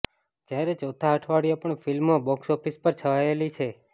જ્યારે ચોથા અઠવાડિયે પણ ફિલ્મ બોક્સઓફિસ પર છલાયેલી છે